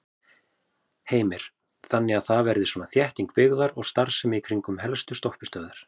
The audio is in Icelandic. Heimir: Þannig að það verði svona þétting byggðar og starfsemi í kringum helstu stoppistöðvar?